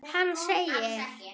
Hann segir: